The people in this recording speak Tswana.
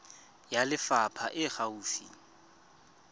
ya lefapha e e gaufi